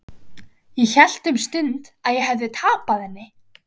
Ég hélt um stund að ég hefði tapað henni.